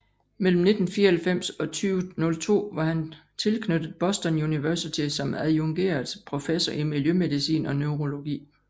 Mellem 1994 og 2002 var han tilknyttet Boston University som adjungeret professor i miljømedicin og neurologi